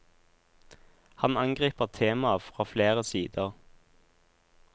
Han angriper temaet fra flere sider.